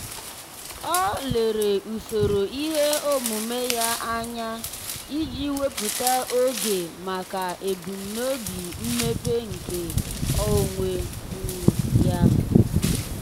ọ́ lèrè usoro ihe omume ya anya iji wèpụ́tá oge màkà ebumnobi mmepe nke onwe um ya.